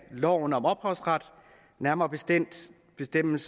af loven om ophavsret nærmere bestemt bestemt